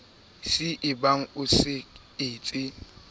c ebang o sa etse